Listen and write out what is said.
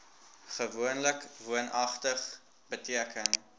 gewoonlik woonagtig beteken